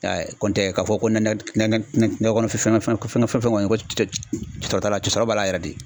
I y'a ye ko n tɛ k'a fɔ ko na ki na na ki na nakɔ kɔnɔ fɛngɛn fɛn kɔni cɔ ci cɛ cɛ o t'a la sɔrɔ b'a la yɛrɛ de